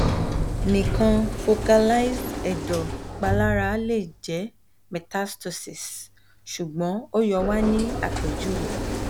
nikan focalized ẹdọ ipalara le jẹ metastases sugbon o yoo wa ni apejuwe